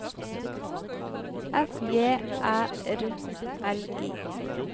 F J Æ R L I